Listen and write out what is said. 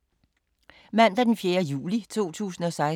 Mandag d. 4. juli 2016